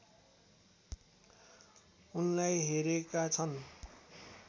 उनलाई हेरेका छन्